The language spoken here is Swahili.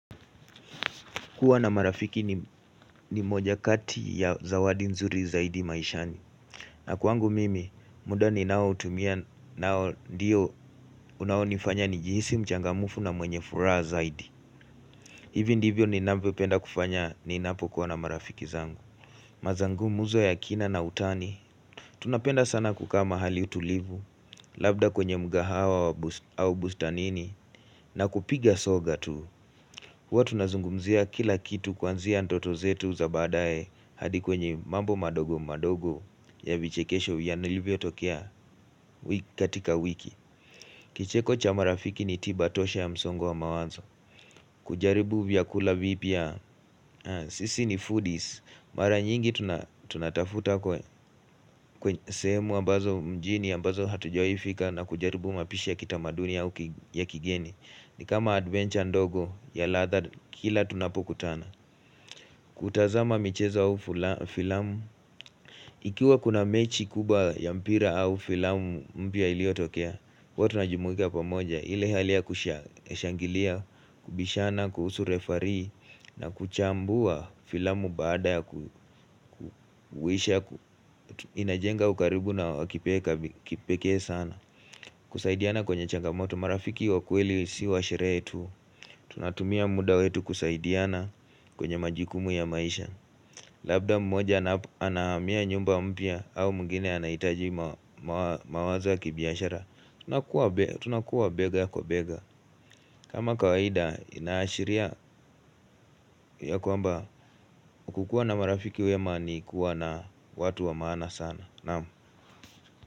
Kuwa na marafiki ni moja kati ya zawadi nzuri zaidi maishani. Na kwangu mimi, muda ni nao tumia nao ndiyo unaonifanya nijihisi mchangamufu na mwenye furaha zaidi. Hivi ndivyo ni navyo penda kufanya ni napo kuwa na marafiki zangu. Mazangu muzo ya kina na utani. Tunapenda sana kukaa mahali utulivu, labda kwenye mgahawa au bustanini, na kupiga soga tu. Huwa tunazungumzia kila kitu kwanzia ndoto zetu za baadae hadi kwenye mambo madogo madogo ya vichekesho ya nilivyo tokea katika wiki. Kicheko cha marafiki ni tiba tosha ya msongo wa mawazo. Kujaribu vyakula vipya sisi ni foodies. Mara nyingi tunatafuta kwenye sehemu ambazo mjini ambazo hatuwahi fika na kujaribu mapishi ya kitamaduni au ya uki ya kigeni. Ni kama adventure ndogo ya ladha kila tunapo kutana. Kutazama michezo au filamu, ikiwa kuna mechi kubwa ya mpira au filamu mpya iliyo tokea, huwa tuna jumuika pamoja, ile halia kushangilia, kubishana, kuhusu refarii, na kuchambua filamu baada ya kuwisha huwa tunazungumzia kila kitu kwanzia ndoto zetu za baadae hadi kwenye mambo madogo madogo ya vichekesho ya nilivyo tokea katika wiki. Kusaidiana kwenye changamoto, marafiki wakweli si wa sherehe tu, tunatumia muda wetu kusaidiana kwenye majukumu ya maisha. Labda mmoja anahamia nyumba mpya au mwingine anahitaji mawazo ya kibiashara Tunakuwa bega kwa bega kama kawaida ina ashiria ya kwamba kukua na marafiki wema ni kuwa na watu wa maana sana.